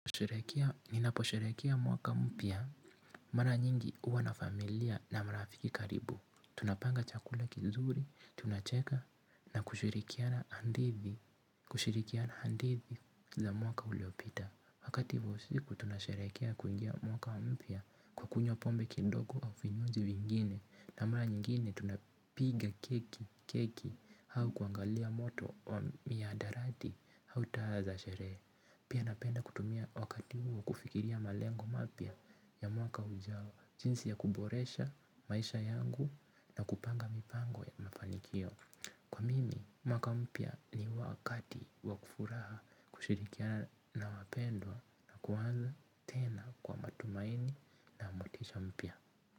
Ninaposherekea mwaka mpya, mara nyingi uwa na familia na marafiki karibu. Tunapanga chakula kizuri, tunacheka na kushirikiana handithi za mwaka uliopita. Wakati wa usiku tunasherekea kuingia mwaka mpya kwa kunywa pombe kidogo au vinywaji vingine. Na mara nyingine tunapiga keki keki, hau kuangalia moto wa miadarati hau taa za sherehe. Pia napenda kutumia wakati huo, kufikiria malengo mapya, ya mwaka ujao. Jinsi ya kuboresha, maisha yangu na kupanga mipango ya mafanikio. Kwa mimi, mwaka mpya ni wakati wakufuraha, kushirikiana na wapendwa na kuanza tena, kwa matumaini na motisha mpya.